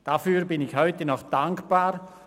Dafür bin ich heute noch dankbar.